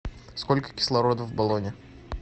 сколько кислорода в баллоне